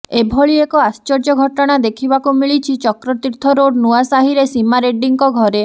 ଏଭଳି ଏକ ଆଶ୍ଚର୍ଯ୍ୟ ଘଟଣା ଦେଖିବାକୁ ମିଳିଛି ଚକ୍ରତୀର୍ଥ ରୋଡ ନୂଆ ସାହିରେ ସୀମା ରେଡ୍ଡୀଙ୍କ ଘରେ